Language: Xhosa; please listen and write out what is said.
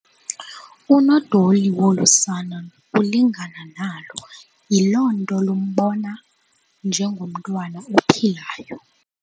Unodoli wolu sana ulingana nalo yiloo nto lumbona njengomntwana ophilayo.